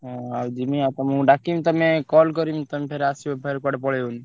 ହଁ ଆଉ ଯିମି ଆଉ ତମୁକୁ ଡାକିବି ତମେ call କରିବି ତମେ ଫେରେ ଆସିବ ଫେରେ କୁଆଡେ ପଳେଇବନି।